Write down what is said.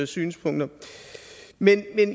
synspunkter men